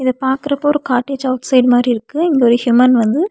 இது பாக்குறப்போ ஒரு காட்டு சவுத் சைடு மாரியிருக்கு இங்க ஒரு ஹியூமன் வந்து.